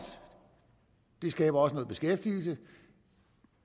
det skaber også noget beskæftigelse